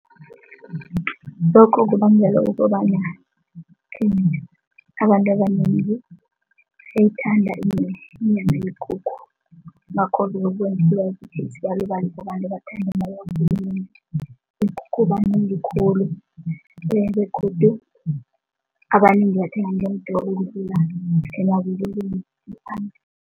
Lokho kubangelwa ukobana abantu abanengi bayithanda inyama yekukhu ngakho yekukhu banengi khulu begodu